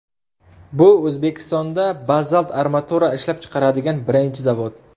Bu O‘zbekistonda bazalt armatura ishlab chiqaradigan birinchi zavod.